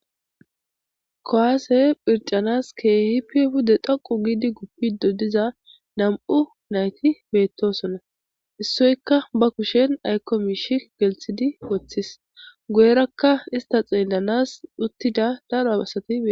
kowasse phircanas keehipi pude dhoqu giidi gupiddo diza nam'u nayti bettossona issoykka ba kushen aykjo miishshi gelththidi woththis guyerakka ista xeellanas uttida daro abasati bettossona